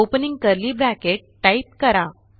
opening curly brace type करा